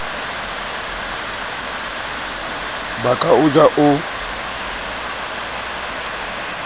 ba ka o ja o